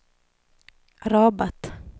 Rabat